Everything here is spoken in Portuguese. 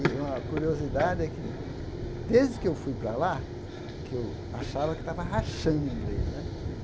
E uma curiosidade é que, desde que eu fui para lá, que eu achava que estava rachando em inglês né.